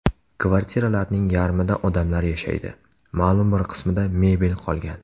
Kvartiralarning yarmida odamlar yashaydi, ma’lum bir qismida mebel qolgan.